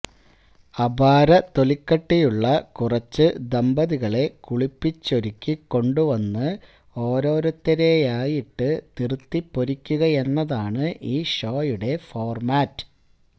അപാര തൊലിക്കട്ടിയുള്ള കുറച്ചു ദമ്പതികളെ കുളിപ്പിച്ചൊരുക്കിക്കൊണ്ട് വന്ന് ഓരോരുത്തരെയായിട്ടു നിറുത്തിപ്പൊരിക്കുകയെന്നതാണ് ഈ ഷോയുടെ ഫോര്മാറ്റ്